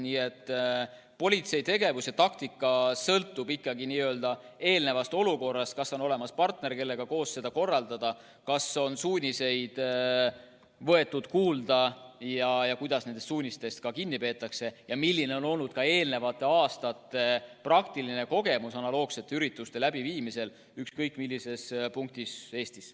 Nii et politsei tegevus ja taktika sõltub ikkagi olukorrast: kas on olemas partner, kellega koos kõike korraldada, kas suuniseid on võetud kuulda, kuidas suunistest kinni peetakse ja milline on olnud ka varasemate aastate praktiline kogemus analoogsete ürituste läbiviimisest ükskõik millises punktis Eestis.